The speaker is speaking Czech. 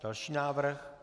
Další návrh.